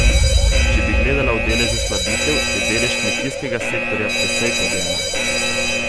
Če bi gledala v deležu slabitev, je delež kmetijskega sektorja precej pod ena.